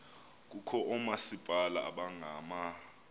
kukho oomasipala abangama